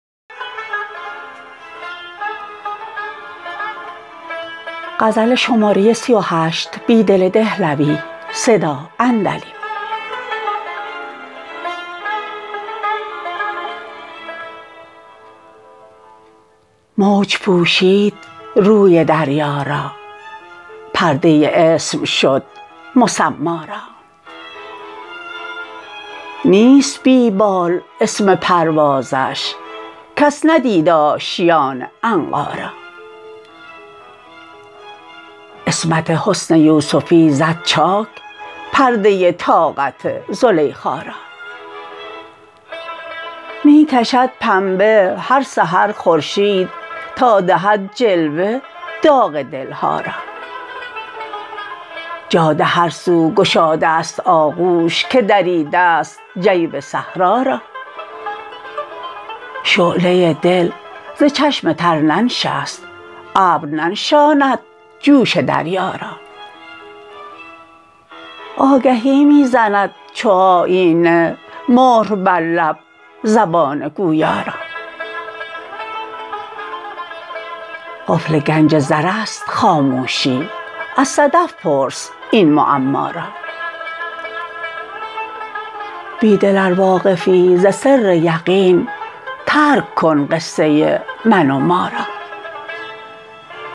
موج پوشید روی دریا را پرده اسم شد مسما را نیست بی بال اسم پروازش کس ندید آشیان عنقا را عصمت حسن یوسفی زد چاک پرده طاقت زلیخا را می کشد پنبه هر سحر خورشید تا دهد جلوه داغ دلها را جاده هر سو گشاده است آغوش که دریده ست جیب صحرا را شعله دل ز چشم تر ننشست ابر ننشاند جوش دریا را آگهی می زند چو آیینه مهر بر لب زبان گویا را قفل گنج زر است خاموشی از صدف پرس این معما را بیدل ار واقفی ز سر یقین ترک کن قصه من و ما را